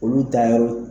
Olu ta ye